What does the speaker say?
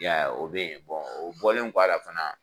I y'a ye o bɛ ye o bɔlen kɔ a la fana